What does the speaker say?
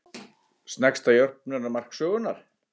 Sneggsta jöfnunarmark sögunnar?